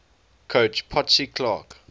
coach potsy clark